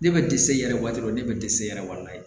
Ne bɛ dɛsɛ yɛrɛ waati dɔ ne bɛ dɛsɛ yɛrɛ wa